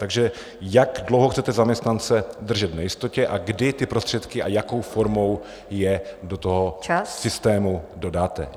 Takže jak dlouho chcete zaměstnance držet v nejistotě a kdy ty prostředky a jakou formou je do toho systému dodáte.